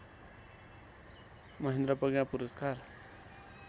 महेन्द्र प्रज्ञा पुरस्कार